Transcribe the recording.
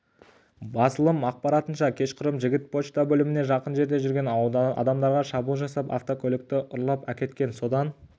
басылым ақпаратынша кешқұрым жігіт пошта бөліміне жақын жерде жүрген адамдарға шабуыл жасап автокөлікті ұрлап әкеткен содан